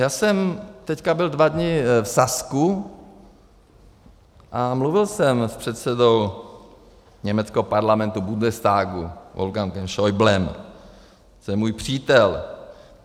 Já jsem teď byl dva dny v Sasku a mluvil jsem s předsedou německého parlamentu Bundestagu Wolfgangem Schäublem, to je můj přítel.